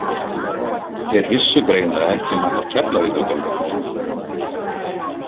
Þeir vissu greinilega ekki um allar Keflavíkurgöngurnar.